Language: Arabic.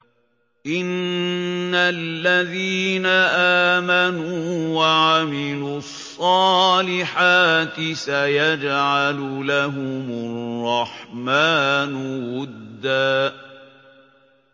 إِنَّ الَّذِينَ آمَنُوا وَعَمِلُوا الصَّالِحَاتِ سَيَجْعَلُ لَهُمُ الرَّحْمَٰنُ وُدًّا